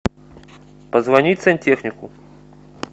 позвонить сантехнику